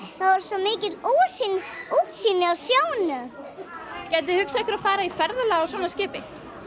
það var svo mikið útsýni af sjónum gætið þið hugsað ykkur að fara í ferðalag á svona skipi